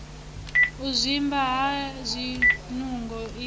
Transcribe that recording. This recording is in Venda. u zwimba ha zwinungo i